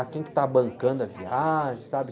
Ah, quem que tá bancando a viagem? Sabe?